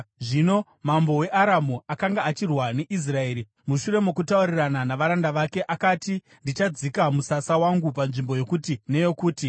Zvino mambo weAramu akanga achirwa neIsraeri. Mushure mokutaurirana navaranda vake, akati, “Ndichadzika musasa wangu panzvimbo yokuti neyokuti.”